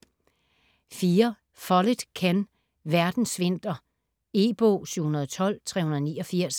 Follett, Ken: Verdens vinter E-bog 712389